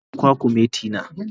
Agiye kwakumeti na.